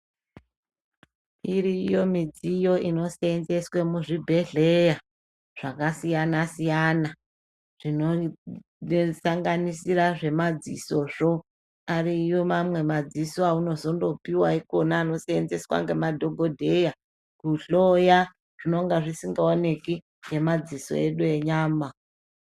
Iriyo mudziyo inosenzeswa muzvibhedhlera zvakasiyana siyana zvinosanganisira zvemadziso zvo ariyo amwe madziso aunozongooihwa anosenzeswa nemadhokodheya Kuhloya zvinenge zvisingaoneki nemadziso edu enyama.